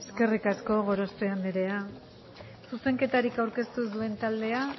eskerrik asko gorospe andrea zuzenketarik aurkeztu ez duen taldea